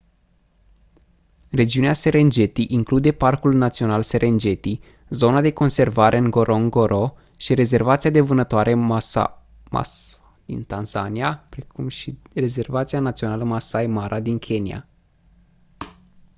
regiunea serengeti include parcul național serengeti zona de conservare ngorongoro și rezervația de vânătoare maswa din tanzania precum și rezervația națională maasai mara din kenya